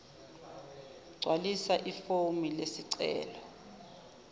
gcwalisa ifomu lesicelo